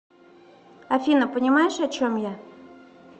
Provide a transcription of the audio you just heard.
афина понимаешь о чем я